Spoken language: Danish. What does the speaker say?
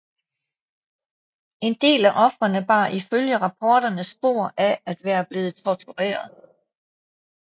En del af ofrerne bar ifølge rapporterne spor af at være blevet tortureret